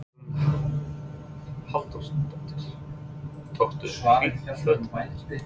Hugrún Halldórsdóttir: Tókstu hlýt föt með þér?